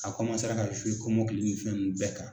A cɔmasera ka kɔmɔkili nin fɛn nunnu bɛɛ kan.